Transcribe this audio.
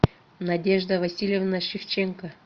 надежда васильевна шевченко